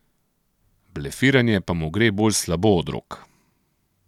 Blefiranje pa mu gre bolj slabo od rok.